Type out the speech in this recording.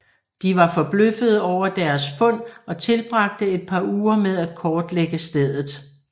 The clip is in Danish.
De var forbløffede over deres fund og tilbragte et par uger med at kortlægge stedet